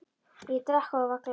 Ég drakk og ég var glaður.